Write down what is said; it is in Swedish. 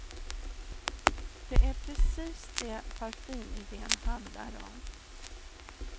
Det är precis det parfymidén handlar om.